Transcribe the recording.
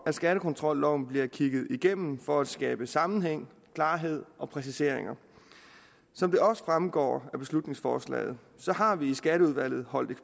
at skattekontrolloven bliver kigget igennem for at skabe sammenhæng klarhed og præciseringer som det også fremgår af beslutningsforslaget har vi i skatteudvalget holdt